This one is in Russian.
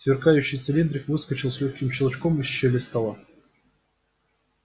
сверкающий цилиндрик выскочил с лёгким щелчком из щели стола